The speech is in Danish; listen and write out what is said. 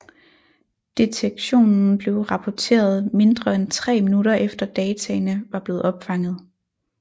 Detektionen blev rapporteret mindre end tre minutter efter dataene var blevet opfanget